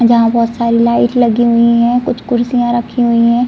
जहाँ बहोत सारी लाइट लगी हुई है। कुछ कुर्सियां रखी हुई हैं।